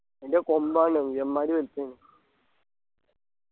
അതിൻ്റെ കൊമ്പ് കാണണൊ യമ്മാരി വലിപ്പെന്